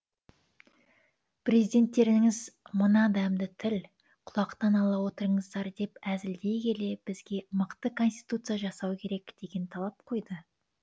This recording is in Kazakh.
президенттеріңіз мына дәмді тіл құлақтан ала отырыңыздар деп әзілдей келе бізге мықты конституция жасау керек деген талап қойды